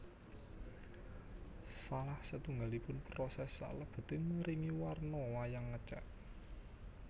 Salah setunggalipun poses salebeté maringi warna wayang ngecat